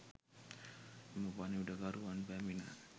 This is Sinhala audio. එම පණිවිඩකරුවන් පැමිණ